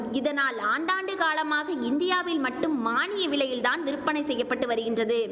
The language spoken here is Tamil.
இதனால் ஆண்டாண்டு காலமாக இந்தியாவில் மட்டும் மானிய விலையில் தான் விற்பனை செய்ய பட்டு வருகின்றது